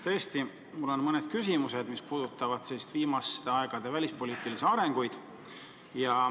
Tõesti, mul on mõned küsimused, mis puudutavad viimaste aegade välispoliitilisi arenguid.